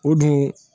O dun